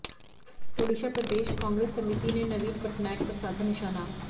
ओडिशा प्रदेश कांग्रेस समिति ने नवीन पटनायक पर साधा निशाना